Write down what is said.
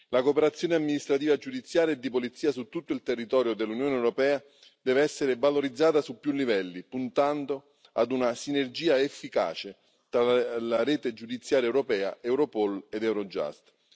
La cooperazione amministrativa giudiziaria e di polizia su tutto il territorio dell'Unione europea deve essere valorizzata su più livelli, puntando ad una sinergia efficace tra la rete giudiziaria europea Europol ed Eurojust.